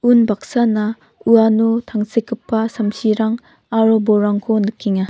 unbaksana uano tangsekgipa samsirang aro bolrangko nikenga.